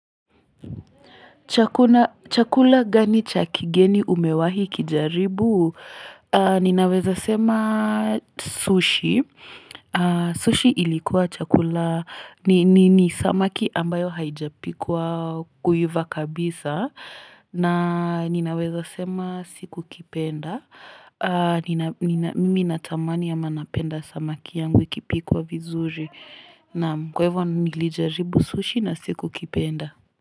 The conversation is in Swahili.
Chakula gani cha kigeni umewahi kijaribu? Ninaweza sema sushi. Sushi ilikuwa chakula ni samaki ambayo haijapikwa kuiva kabisa. Na ninaweza sema sikukipenda. Mimi natamani ama napenda samaki yangu ikipikwa vizuri. Kwa hivyo nilijaribu sushi na sikukipenda.